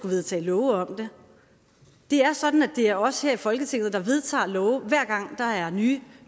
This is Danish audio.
vedtage love om det det er sådan at det er os her i folketinget der vedtager lovene hver gang der er nye